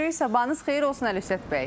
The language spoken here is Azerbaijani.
Sabahınız xeyir olsun Əlövsət bəy.